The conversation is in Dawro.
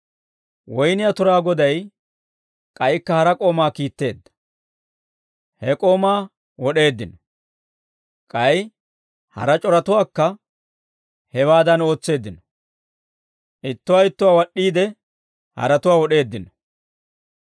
Woynniyaa turaa goday k'aykka hara k'oomaa kiitteedda; he k'oomaa wod'eeddino; k'ay hara c'oratuwaakka hewaadan ootseeddino; ittuwaa ittuwaa wad'd'iide, haratuwaa wod'eeddino.